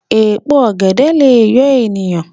Èpo ọ̀gẹ̀dẹ̀ lè yọ èèyàn